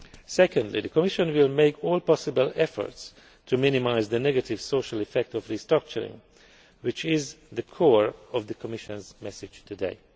Secondly, the Commission will make all possible efforts to minimise the negative social effect of restructuring, which is the core of the Commission's message